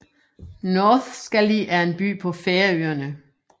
Norðskáli er en by på Færøerne